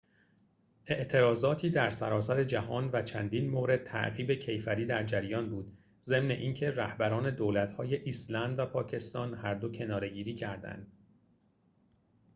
اعتراضاتی در سراسر جهان و چندین مورد تعقیب کیفری در جریان بود ضمن اینکه رهبران دولت‌های ایسلند و پاکستان هردو کناره‌گیری کردند